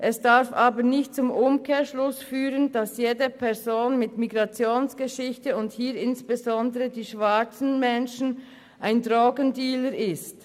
Es darf aber nicht zum Umkehrschluss führen, dass jede Person mit Migrationsgeschichte – und hier insbesondere die schwarzen Menschen – ein Drogendealer ist.